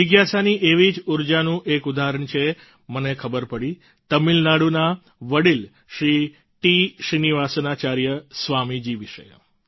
જિજ્ઞાસાની એવી જ ઉર્જાનું એક ઉદાહરણ મને ખબર પડી તમિલનાડુના વડિલ શ્રી ટી શ્રીનિવાસાચાર્ય સ્વામી જી વિશે